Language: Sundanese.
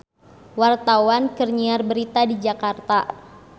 Wartawan keur nyiar berita di Jakarta